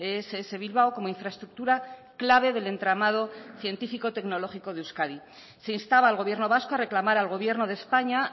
ess bilbao como infraestructura clave del entramado científico tecnológico de euskadi se instaba al gobierno vasco a reclamar al gobierno de españa